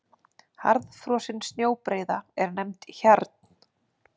Harðfrosin snjóbreiða er nefnd hjarn.